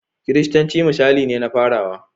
Kiristanci misalai ne na farawa.